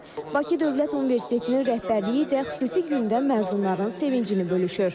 Bakı Dövlət Universitetinin rəhbərliyi də xüsusi gündəm məzunların sevincini bölüşür.